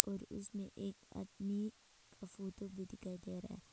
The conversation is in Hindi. और उसमें एक आदमी का फोटो भी दिखाई दे रहा है।